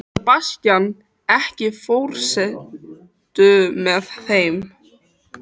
Sebastian, ekki fórstu með þeim?